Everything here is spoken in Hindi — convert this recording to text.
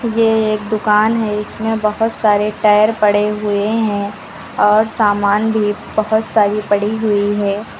ये एक दुकान है। इसमें बोहोत सारे टायर पड़े हुए हैं और सामान भी बोहोत सारी पड़ी हुई हैं।